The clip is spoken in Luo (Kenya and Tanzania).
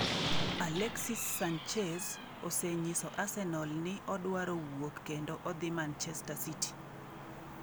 Alexis Sanchez osenyiso Arsenal ni odwar wuok kendo odhi Manchester City.